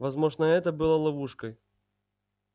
возможно это было ловушкой